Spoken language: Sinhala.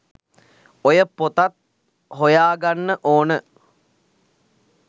ඔය පොතත් හොයාගන්න ඕන